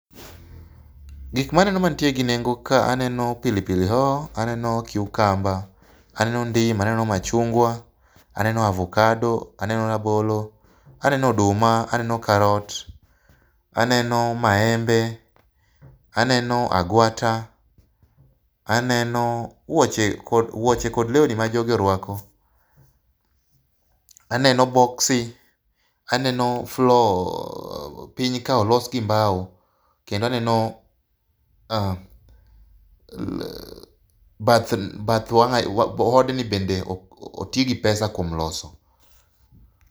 Gik maneno mantie gi nengo kae aneno pili pili hoho, aneno kiukamba, aneno ndim aneno machungwa, aneno avukado aneno rabolo aneno oduma aneno karot, aneno maembe, aneno agwata aneno wuoche kodwuoche kod lewni ma jogi noruako. Aneno boksi, aneno floor piny ka olos gi mbao kendo aneno bath odni bende oti gi pesa kuom loso.